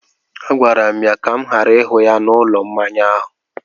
Agwara m ya ka m ghara ịhụ ya n’ụlọ mmanya ahụ!